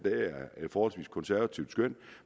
er et forholdsvis konservativt skøn